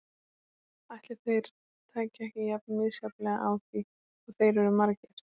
Ætli þeir tækju ekki jafn misjafnlega á því og þeir eru margir.